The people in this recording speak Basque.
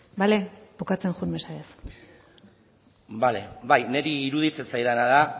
bale bukatzen joan mesedez bale bai niri iruditzen zaidana da